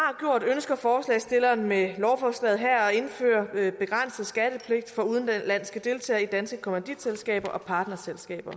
ønsker forslagsstillerne med lovforslaget her at indføre en begrænset skattepligt for udenlandske deltagere i danske kommanditselskaber og partnerselskaber